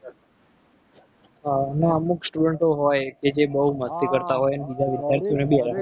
ના શકે એ છોકરાઓ full મસ્તી કરતા ના અમુક સ્ટુડન્ટો હોય કે જે બહુ મસ્તી કરતા હોય.